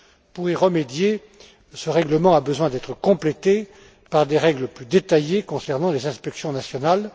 Pour y remédier, ce règlement a besoin d'être complété par des règles plus détaillées concernant les inspections nationales.